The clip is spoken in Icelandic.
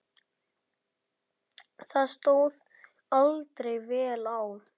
Það stóð aldrei vel á.